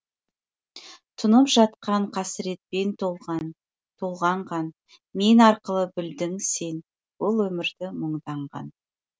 тұнып жатқан қасіретпен толғанған мен арқылы білдің сен бұл өмірді мұңданған